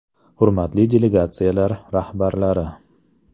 Hurmatli delegatsiyalar rahbarlari!